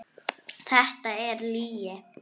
Þetta er lygi.